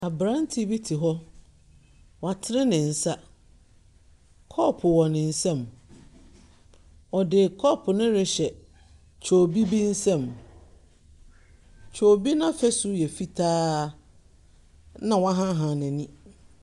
Aberanteɛ bi ti hɔ. Watene ne nsa. Kɔɔpo wɔ ne nsam. Ɔde kɔɔpo no rehyɛ kyoobi bi nsam. Kyoobi no afasu yɛ fitaa, na wahaahaa n'ani.